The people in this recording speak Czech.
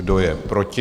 Kdo je proti?